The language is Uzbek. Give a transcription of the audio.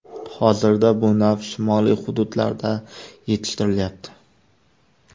Hozirda bu nav shimoliy hududlarda yetishtirilyapti.